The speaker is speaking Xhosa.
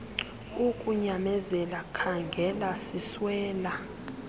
ukunyamezela khaangela siswela